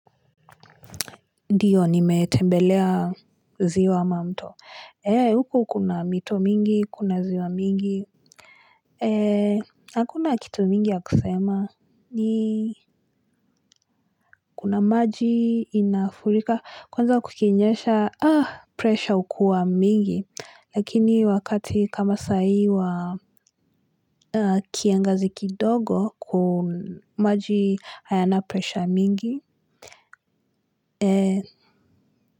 Ndiyo nimetembelea ziwa ama mto ee huko kuna mito mingi kuna ziwa mingi ee hakuna kitu mingi ya kusema ni kuna maji inafurika kwanza kukinyesha ah pressure ukuwa mingi lakini wakati kama sai wa kiangazi kidogo ku maji hayana pressure mingi ee.